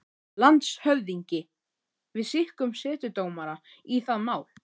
LANDSHÖFÐINGI: Við skikkum setudómara í það mál.